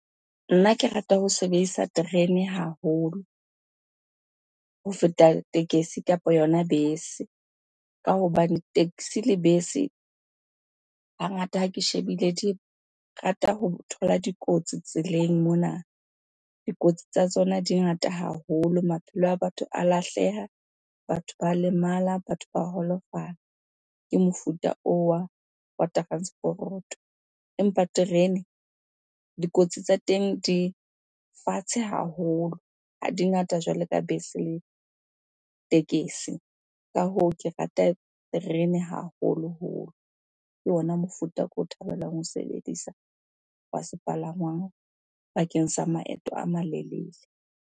Nna ke rata ho sebedisa terene haholo ho feta tekesi kapa yona bese. Ka hobane taxi le bese hangata ha ke shebile, di rata ho thola dikotsi tseleng mona. Dikotsi tsa tsona di ngata haholo, maphelo a batho a lahleha, batho ba lemala, batho ba holofala ke mofuta oo wa transporoto. Empa terene, dikotsi tsa teng di fatshe haholo, ha di ngata jwalo ka bese le tekesi. Ka hoo ke rata terene haholoholo, ke ona mofuta oko thabelang ho o sebedisa wa sepalangwang bakeng sa maeto a malelele.